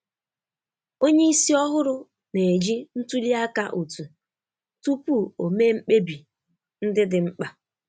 Onye isi ọhụrụ na-eji ntụli aka otu tupu ome mkpebi ndị dị mkpa.